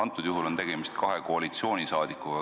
Praegu on tegemist kahe koalitsioonisaadikuga.